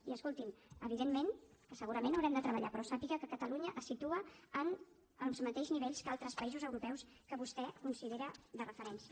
i escolti’m evidentment que segurament haurem de treballar però sàpiga que catalunya es situa en els mateixos nivells que altres països europeus que vostè considera de referència